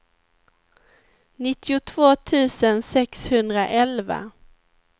nittiotvå tusen sexhundraelva